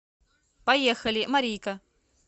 поехали марийка